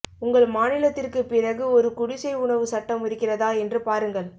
உங்கள் மாநிலத்திற்கு பிறகு ஒரு குடிசை உணவு சட்டம் இருக்கிறதா என்று பாருங்கள்